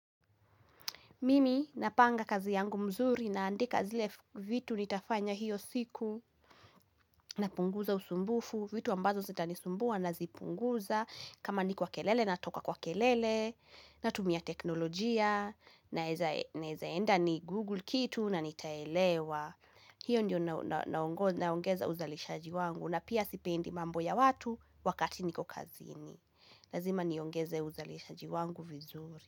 Mimi napanga kazi yangu mzuri naandika zile vitu nitafanya hiyo siku napunguza usumbufu. Vitu ambazo zitanisumbua nazipunguza kama ni kwa kelele natoka kwa kelele natumia teknolojia naezaenda nigoogle kitu na nitaelewa. Hiyo ndio naongeza uzalishaji wangu na pia sipendi mambo ya watu wakati niko kazini. Lazima niongeze uzalishaji wangu vizuri.